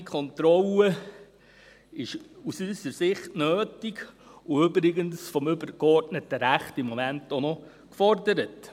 Eine unabhängige Kontrolle ist aus unserer Sicht nötig und übrigens vom übergeordneten Recht im Moment auch noch gefordert.